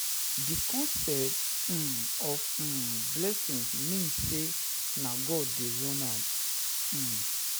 The concept um of [um]blessing mean say na God de run am um